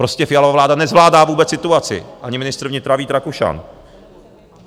Prostě Fialova vláda nezvládá vůbec situaci, ani ministr vnitra Vít Rakušan.